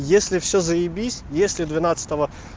если всё заебись если двенадцатого